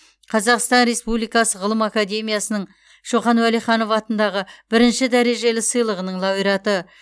қазақстан республикасы ғылым академиясының шоқан уәлиханов атындағы бірінші дәрежелі сыйлығының лауреаты